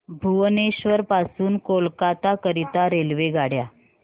भुवनेश्वर पासून कोलकाता करीता रेल्वेगाड्या